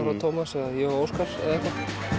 og Tómas eða ég og Óskar eða eitthvað